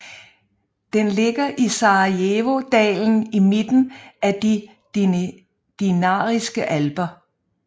Den ligger i Sarajevodalen i midten af de Dinariske Alper